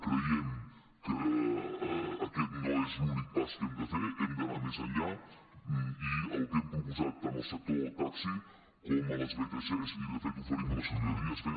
creiem que aquest no és l’únic pas que hem de fer hem d’anar més enllà i el que hem proposat tant al sector del taxi com a les vtcs i de fet oferim a la ciutadania és fer